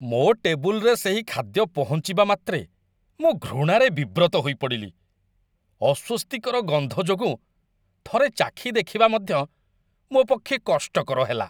ମୋ ଟେବୁଲ୍ରେ ସେହି ଖାଦ୍ୟ ପହଞ୍ଚିବା ମାତ୍ରେ ମୁଁ ଘୃଣାରେ ବିବ୍ରତ ହୋଇପଡ଼ିଲି। ଅସ୍ୱସ୍ତିକର ଗନ୍ଧ ଯୋଗୁଁ ଥରେ ଚାଖି ଦେଖିବା ମଧ୍ୟ ମୋ ପକ୍ଷେ କଷ୍ଟକର ହେଲା।